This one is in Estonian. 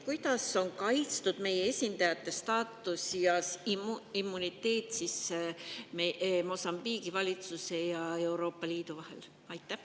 Kuidas on kaitstud meie esindajate staatus ja immuniteet Mosambiigi valitsuse ja Euroopa Liidu vahel?